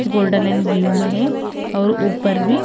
golden and blue में है और ऊपर भी--